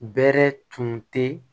Bɛɛrɛ tun tɛ